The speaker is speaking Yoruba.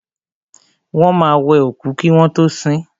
Wọ́n máa wẹ òkú kí wọ́n tọ́ sin.